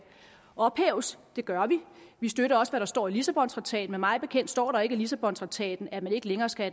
ophæves det gør vi vi støtter også hvad der står i lissabontraktaten men mig bekendt står der ikke i lissabontraktaten at man ikke længere skal